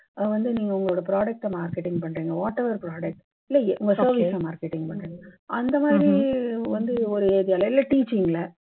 அஹ் வந்து நீங்க உங்க product டை நீங்க marketing பண்றீங்க. whatever product இல்லை, somehow marketing பண்றீங்க. அந்த மாதிரி வந்து ஒரு